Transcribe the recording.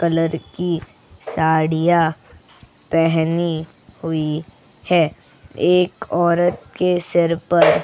Colour की साड़ियां पहनी हुई है एक औरत के सिर पर.